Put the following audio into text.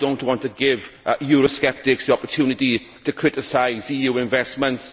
I do not want to give Eurosceptics the opportunity to criticise EU investments.